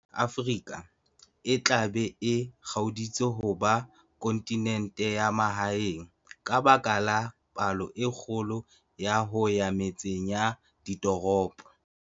Afrika e tla be e kgaoditse ho ba 'kontinente ya mahaeng' ka baka la phallo e kgolo ya ho ya metseng ya ditoropo.